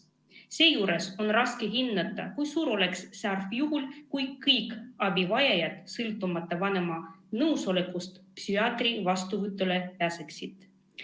Seejuures on raske hinnata, kui suur oleks see arv siis, kui kõik abivajajad sõltumata vanema nõusolekust psühhiaatri vastuvõtule pääseksid.